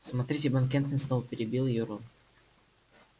смотрите банкетный стол перебил её рон